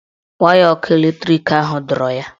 Waya ọkụ latrik ahụ dọrọ ya.